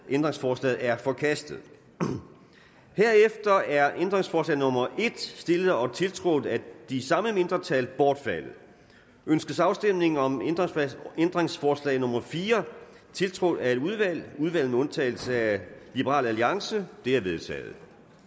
ændringsforslaget er forkastet herefter er ændringsforslag nummer en stillet og tiltrådt af de samme mindretal bortfaldet ønskes afstemning om ændringsforslag nummer fire tiltrådt af et flertal udvalget med undtagelse af liberal alliance det er vedtaget